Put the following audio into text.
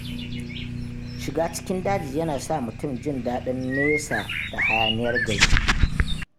Shiga cikin daji yana sa mutum jin daɗin nesa da hayaniyar gari.